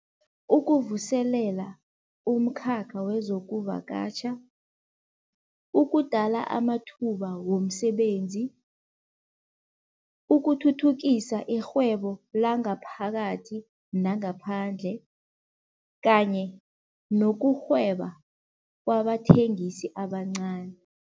Ukuvuselela umkhakha wezokuvakatjha, ukudala amathuba womsebenzi, ukuthuthukisa irhwebo langaphakathi nangaphandle kanye nokurhweba kwabathengisi abancani.